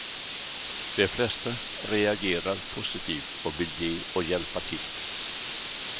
De flesta reagerar positivt och vill ge och hjälpa till.